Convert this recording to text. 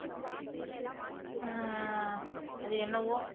ஆஹ் அது என்னவோ